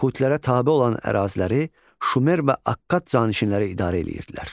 Kutilərə tabe olan əraziləri Şumer və Akkad canişinləri idarə eləyirdilər.